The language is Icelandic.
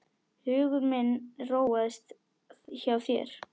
Hugur minn róaðist hjá þér.